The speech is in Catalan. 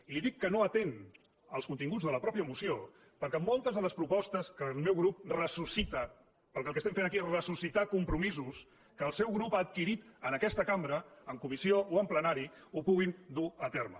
i li dic que no atén als continguts de la mateixa moció perquè moltes de les propostes que el meu grup ressuscita perquè el que estem fent aquí és ressuscitar compromisos que el seu grup ha adquirit en aquesta cambra en comissió o en plenari les pu·guin dur a terme